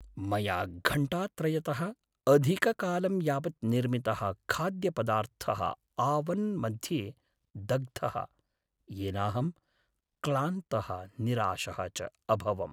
मया घण्टात्रयतः अधिककालं यावत् निर्मितः खाद्यपदार्थः आवन् मध्ये दग्धः, येनाहं क्लान्तः निराशः च अभवम्।